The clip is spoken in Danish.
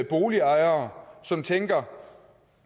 boligejere som tænker